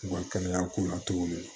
U ka kɛnɛya ko la togo min na